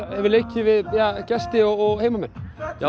hefur leikið við gesti og heimamenn já